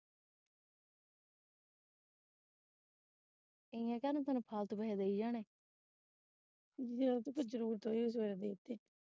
ਜੇ ਪੁੱਤ ਜਰੂਰਤ ਹੋਵੇ ਫਿਰ ਦੇ ਤੇ।